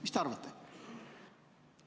Mis te arvate?